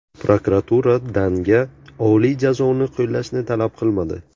Prokuratura Dannga oliy jazoni qo‘llashni talab qilmadi.